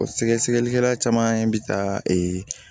O sɛgɛsɛgɛlikɛla caman bi taa ee